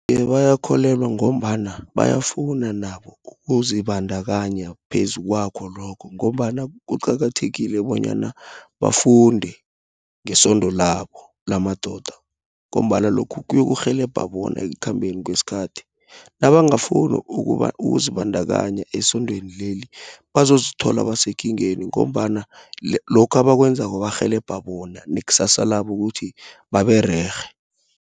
Iye bayakholelwa, ngombana bayafuna nabo, ukuzibandakanya phezu kwakho lokho, ngombana kuqakathekile bonyana bafunde, ngesondo labo lamadoda. Ngombana lokhu kuyokurhelebha bona, ekukhambeni kweskhathi. Nabangafuni ukuba ukuzibandakanya esondweni leli, bazozithola basekingeni. Ngombana lokhu abakwenzako barhelebha bona, nekusasa labo ukuthi babererhe.